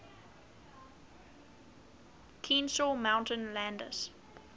kenesaw mountain landis